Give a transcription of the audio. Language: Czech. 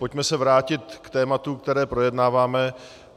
Pojďme se vrátit k tématu, které projednáváme.